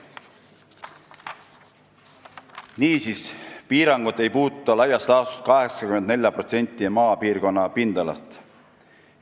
Niisiis, piirangud ei puuduta laias laastus 84% maapiirkonna pindalast.